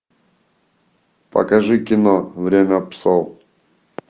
покажи кино время псов